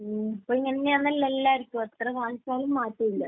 മ്മ്. ഇപ്പൊ ഇങ്ങനെ തന്നെയാണല്ലോ എല്ലാവർക്കും. എത്ര ബാധിച്ചാലും മാറ്റമില്ല.